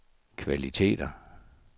kvaliteter